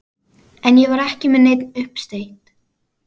En ég var ekki með neinn uppsteyt.